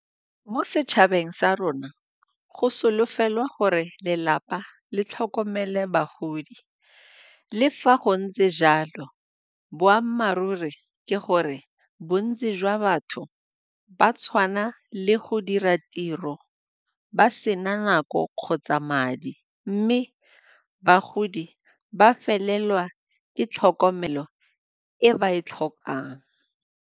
Mo setšhabeng sa rona, go solofelwa gore lelapa le tlhokomele bagodi. Le fa go ntse jalo, boammaaruri ke gore bontsi jwa batho ba tshwana le go dira tiro ba sena nako kgotsa madi mme bagodi ba felelwa ke tlhokomelo e ba e tlhokang.